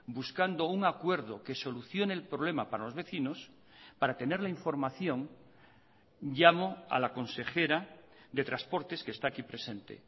buscando un acuerdo que solucione el problema para los vecinos para tener la información llamo a la consejera de transportes que está aquí presente